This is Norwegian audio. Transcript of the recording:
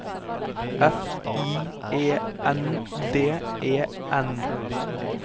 F I E N D E N